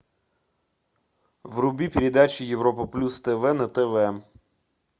вруби передачу европа плюс тв на тв